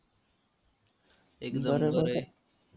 एकदम खरं आहे.